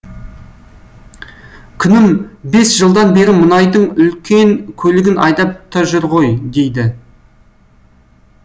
күнім бес жылдан бері мұнайдың үлкен көлігін айдап та жүр ғой дейді